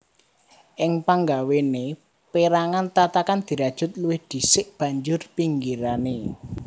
Ing panggawéné pérangan tatakan dirajut luwih dhisik banjur pinggirané